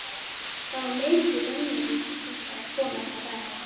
Það var mikið rennirí til þessarar konu alla daga.